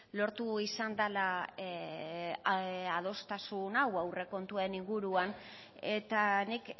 lortu izan dela adostasun hau aurrekontuen inguruan eta nik